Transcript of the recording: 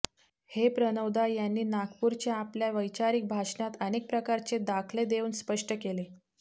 हे प्रणवदा यांनी नागपूरच्या आपल्या वैचारिक भाषणात अनेक प्रकारचे दाखले देऊन स्पष्ट केले